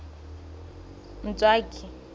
ntswaki